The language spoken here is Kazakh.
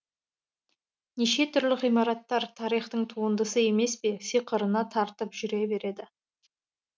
неше түрлі ғимараттар тарихтың туындысы емес пе сиқырына тартып жүре береді